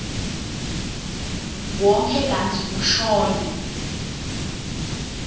wonkhe kantsi kushone